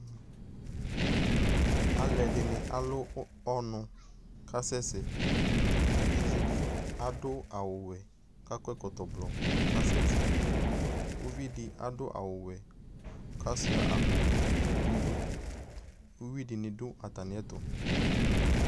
Alʋɛdɩnɩ alʋ ɔnʋ k'asɛ sɛ; evidzedɩ adʋ awʋwɛ , k'akɔ ɛkɔtɔblɔ k'asɛ tɩ Uvidi zwʋwɛ k'asʋɩa akpowɛ n'idu , uyuidɩnɩ dʋ atamɩɛtʋ